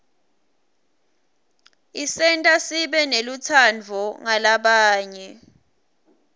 isenta sibe nelutsandvo ngalabanye